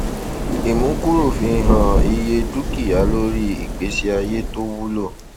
ìmúkúrò fi hàn iye dúkìá lórí ìgbésí ayé tó wúlò